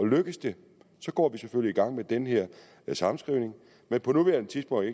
lykkedes det går vi selvfølgelig i gang med den her sammenskrivning men på nuværende tidspunkt